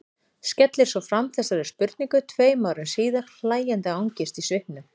Skellir svo fram þessari spurningu tveim árum síðar, hlæjandi angist í svipnum.